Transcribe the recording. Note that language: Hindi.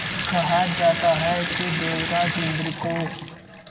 कहा जाता है कि देवराज इंद्र को